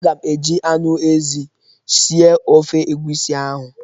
Aga m eji anụ ezi sie ofe egusi ahụ.